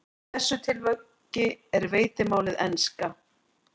Í þessu tilviki er veitimálið enska.